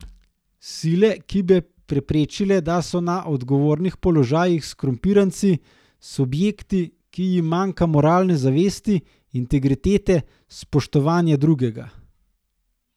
Sile, ki bi preprečila, da so na odgovornih položajih skorumpiranci, subjekti, ki jim manjka moralne zavesti, integritete, spoštovanja Drugega.